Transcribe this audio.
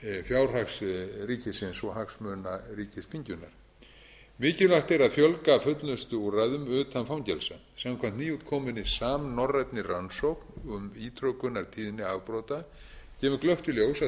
fjárhags ríkisins og hagsmuna á ríkisþinginu mikilvægt er að fjölga fullnustuúrræðum utan fangelsa samkvæmt nýútkominni samnorrænni rannsókn um ítrekunartíðni afbrota kemur glöggt í ljós að